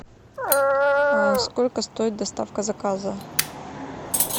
сколько стоит доставка заказа